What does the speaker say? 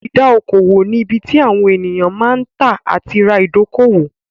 Ìdá okò òwò ni ibi tí àwọn èèyàn máa ń tà àti ra ìdókòwò